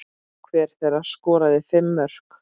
Hver þeirra skoraði fimm mörk.